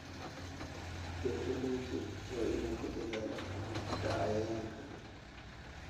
Beeraleydu waa inay ku dadaalaan ka hortagga cayayaanka.